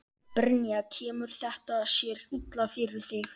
Brynja: Kemur þetta sér illa fyrir þig?